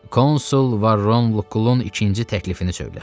Konsul Varron Lukulun ikinci təklifini söylə.